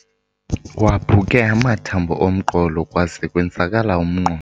Waphuke amathambo omqolo kwaze kwenzakala umnqo.